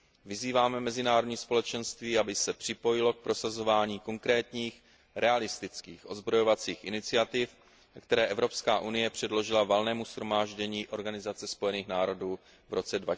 Vyzýváme mezinárodní společenství, aby se připojilo k prosazování konkrétních, realistických odzbrojovacích iniciativ, které Evropská unie předložila Valnému shromáždění OSN v roce